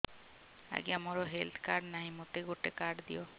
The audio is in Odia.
ଆଜ୍ଞା ମୋର ହେଲ୍ଥ କାର୍ଡ ନାହିଁ ମୋତେ ଗୋଟେ କାର୍ଡ ଦିଅ